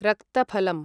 रक्तफलम्